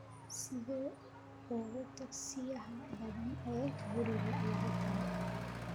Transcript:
sida ugu dhakhsiyaha badan ee guriga lagu tago